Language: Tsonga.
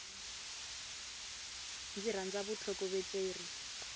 ndzi rhandza vutlhokovetseri